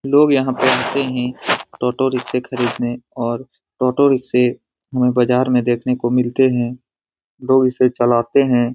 लोग यहां पे आते है टोटो रिक्शे खरीदने और टोटो रिक्शे हमें बाजार में देखने को मिलते हैं लोग इसे चलाते हैं।